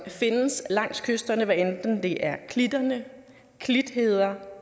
findes langs kysterne hvad enten det er klitter klitheder eller